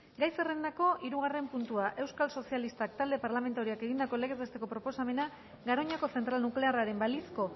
gai zerrendako hirugarren puntua euskal sozialistak talde parlamentarioak egindako legez besteko proposamena garoñako zentral nuklearraren balizko